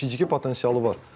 Bəli, fiziki potensialı var.